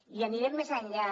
i anirem més enllà